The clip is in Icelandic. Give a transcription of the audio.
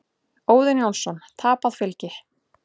Óðinn Jónsson: Tapað fylgi.